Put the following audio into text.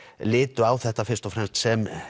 litu á þetta fyrst og fremst sem